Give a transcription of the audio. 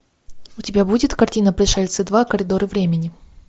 у тебя будет картина пришельцы два коридоры времени